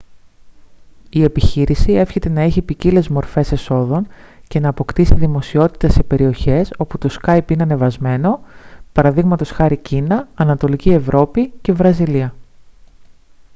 η επιχείρηση εύχεται να έχει ποικίλες μορφές εσόδων και να αποκτήσει δημοσιότητα σε περιοχές όπου το σκάυπ είναι ανεβασμένο π.χ. κίνα ανατολική ευρώπη και βραζιλία